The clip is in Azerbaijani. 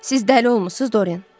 Siz dəli olmusuz, Doren?